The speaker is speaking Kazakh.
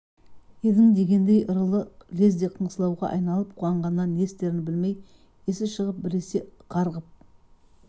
едің дегендей ырылы лезде қыңсылауға айналып қуанғаннан не істерін білмей есі шығып біресе қарғып